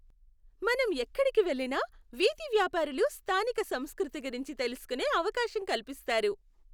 మనం ఎక్కడికి వెళ్లినా వీధి వ్యాపారులు స్థానిక సంస్కృతి గురించి తెలుసుకునే అవకాశం కల్పిస్తారు.